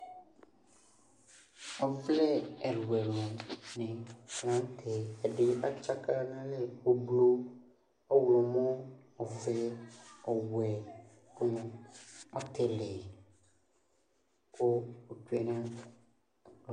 Ɔvlɛ ɛlʋɛlʋ vovo ɛdɩ atsaka n'alɛ: ʋblʋ , ɔɣlɔmɔ , ofuele , ɔwɛ dɩnɩ, ɔtɩlɩ , kʋ otsue naa